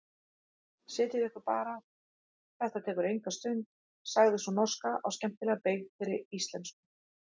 Setjið ykkur bara, þetta tekur engin stund, sagði sú norska á skemmtilega beygðri íslensku.